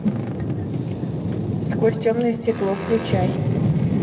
сквозь темное стекло включай